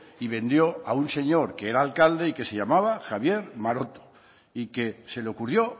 y vendió a un señor que era alcalde y que se llamaba javier maroto y que se le ocurrió